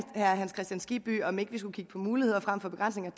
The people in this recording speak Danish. hans kristian skibby om ikke vi skulle kigge på muligheder frem for begrænsninger